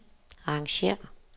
arrangér